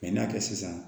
n'a kɛ sisan